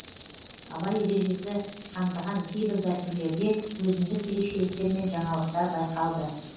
абай ережесі қамтыған кейбір дәстүрлерде өзіндік ерекшеліктер мен жаңалықтар байқалды